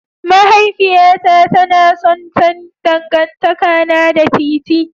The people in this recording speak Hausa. Mahaifiyata tana son sanin dangantakana da TiTi.